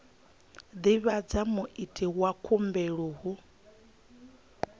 divhadza muiti wa khumbelo hu